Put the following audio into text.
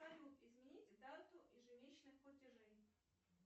салют изменить дату ежемесячных платежей